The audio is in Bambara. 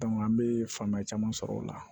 an bɛ faamuya caman sɔrɔ o la